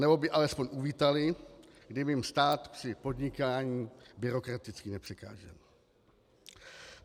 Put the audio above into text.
Anebo by alespoň uvítali, kdyby jim stát při podnikání byrokraticky nepřekážel.